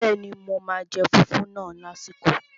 Bẹ́ẹ̀ni, mo máa jẹ fùfú náà lásìkò